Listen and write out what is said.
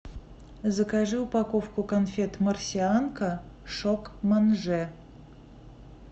закажи упаковку конфет марсианка шок манже